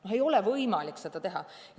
No ei ole võimalik seda teha.